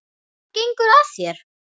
Hvað gengur að þér?